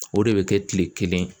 O de bɛ kɛ kile kelen